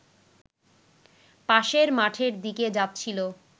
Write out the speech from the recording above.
পাশের মাঠের দিকে যাচ্ছিল